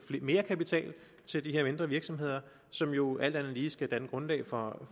mere kapital til de her mindre virksomheder som jo alt andet lige skal danne grundlag for